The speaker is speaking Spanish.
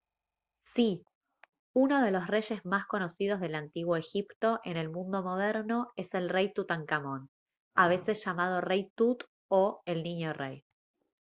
¡sí! uno de los reyes más conocidos del antiguo egipto en el mundo moderno es el rey tutankamón a veces llamado «rey tut» o «el niño rey»